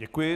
Děkuji.